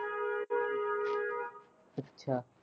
ਅੱਛਾ।